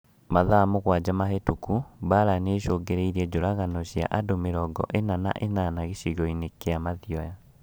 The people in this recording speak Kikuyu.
Mathaa mũgwanja mahĩtũku, Mbaara nĩicũngĩrĩirie njũragano cia andũ mĩrongo ĩna na ĩnana gĩcigo-inĩ kĩa Mathioya